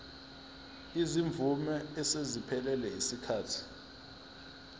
izimvume eseziphelelwe yisikhathi